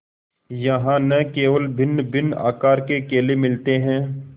यहाँ न केवल भिन्नभिन्न आकार के केले मिलते हैं